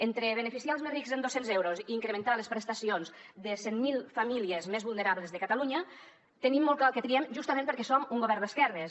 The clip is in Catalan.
entre beneficiar els més rics en dos cents euros i incrementar les prestacions de cent mil famílies més vulnerables de catalunya tenim molt clar el que triem justament perquè som un govern d’esquerres